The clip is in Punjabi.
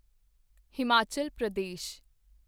ਹਿਮਾਚਲ ਪ੍ਰਦੇਸ਼